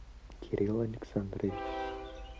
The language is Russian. кирилл александрович